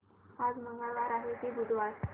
आज मंगळवार आहे की बुधवार